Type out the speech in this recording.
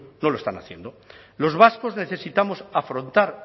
no lo están haciendo los vascos necesitamos afrontar